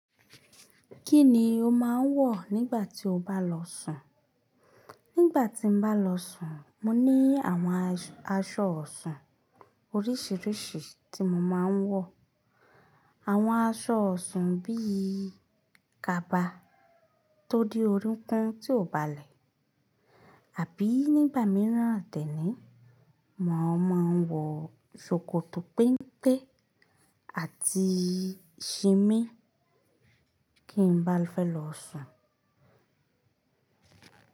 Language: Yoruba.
Kíni o máa ń wọ̀ nígbà tí o bá lọ sùn? Nígbà tí mbá lọ sùn, mo ní àwọn aṣọ wosun oríṣiríṣi ti mo máa ń wọ̀. Àwọn aṣọ ọ̀sùn bíi kaba tó de orunkun tí ò bá lẹ̀, àbí nígbà mìíràn dénì, mo ma n wọ̀ ṣòkòtò pẹ́ńpe àti ṣìmín kí n bá fẹ́ lọ sùn.